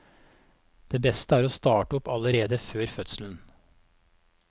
Det beste er å starte opp allerede før fødselen.